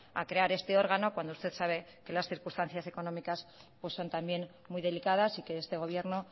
a crear este órgano cuando usted sabe que las circunstancias económicas son también muy delicadas y que este gobierno